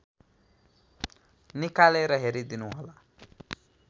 निकालेर हेरिदिनुहोला